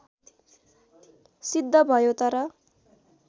सिद्ध भयो तर